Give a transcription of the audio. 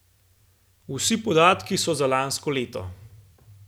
Vsi podatki so za lansko leto.